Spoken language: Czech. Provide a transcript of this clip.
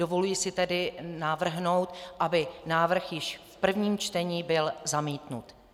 Dovoluji si tedy navrhnout, aby návrh již v prvním čtení byl zamítnut.